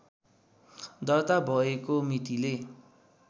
दर्ता भएको मितिले